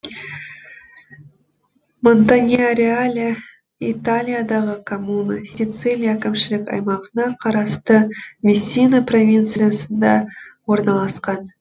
монтаньяреале италиядағы коммуна сицилия әкімшілік аймағына қарасты мессина провинциясында орналасқан